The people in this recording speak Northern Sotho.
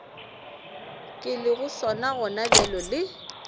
ke lego sona gonabjale le